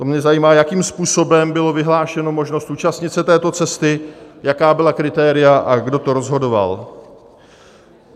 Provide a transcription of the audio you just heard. To mě zajímá, jakým způsobem byla vyhlášena možnost účastnit se této cesty, jaká byla kritéria a kdo to rozhodoval.